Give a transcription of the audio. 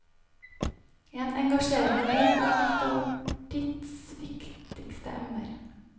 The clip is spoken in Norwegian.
En engasjerende bok om et av vår tids viktigste emner.